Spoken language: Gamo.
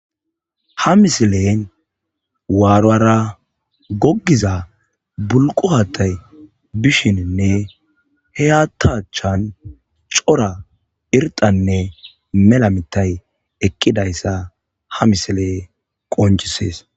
Ha missilen waruwra gogiza bulqqo haththay bishenne he haththa achan coora irxanne mela mithay eqidayssa ha missile qoncises.